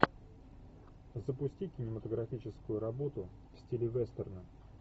запусти кинематографическую работу в стиле вестерна